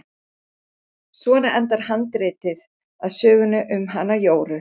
Svona endar handritið að sögunni um hana Jóru.